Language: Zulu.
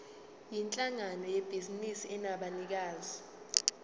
yinhlangano yebhizinisi enabanikazi